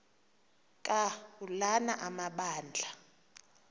ka ulana amabandla